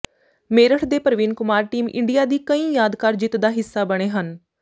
ਮੇਰਠ ਦੇ Praveen Kumar team India ਦੀ ਕਈਂ ਯਾਦਗਾਰ ਜਿੱਤ ਦਾ ਹਿੱਸਾ ਬਣੇ ਹਨ